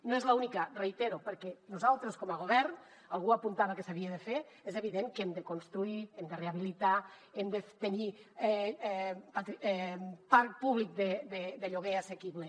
no és l’única ho reitero perquè nosaltres com a govern algú apuntava que s’havia de fer és evident que hem de construir hem de rehabilitar hem de tenir parc públic de lloguer assequible